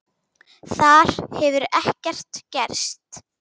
Þar hefur ekkert gerst.